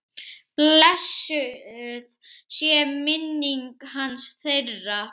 Blessuð sé minning hans, þeirra.